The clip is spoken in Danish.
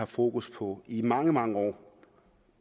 fokus på i mange mange år